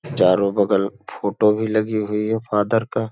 चारो बगल फोटो भी लगी हुई है। फादर का --